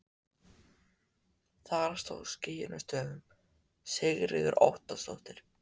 Þar stóð skýrum stöfum Sigríður Óttarsdóttir.